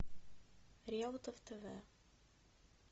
реутов тв